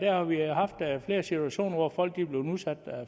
har vi haft flere situationer hvor folk er blevet udsat